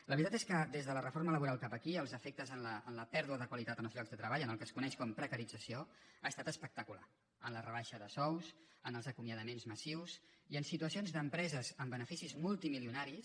la veritat és que des de la reforma laboral cap aquí els efectes en la pèrdua de qualitat en els llocs de treball en el que es coneix com a precarització han estat espectaculars en la rebaixa de sous en els acomiadaments massius i en situacions d’empreses amb beneficis multimilionaris